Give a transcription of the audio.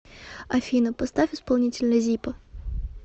афина поставь исполнителя зиппо